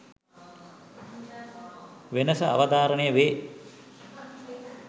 වෙනස අවධාරණය වේ.